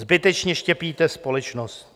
Zbytečně štěpíte společnost.